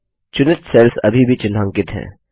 चुनित सेल्स अभी भी चिन्हांकित हैं